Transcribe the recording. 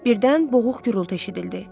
Birdən boğuq gurultu eşidildi.